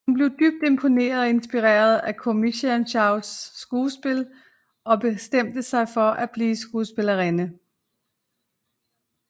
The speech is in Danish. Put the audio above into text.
Hun blev dybt imponeret og inspireret af Komissarsjevskajas skuespil og bestemte sig for at blive filmskuespillerinde